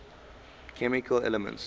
chemical elements